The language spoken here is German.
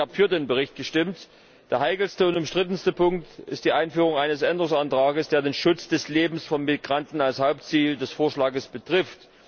Ich habe für den Bericht gestimmt. Der heikelste und umstrittenste Punkt ist die Einführung eines Änderungsantrags, der den Schutz des Lebens von Migranten als Hauptziel des Vorschlags betrifft.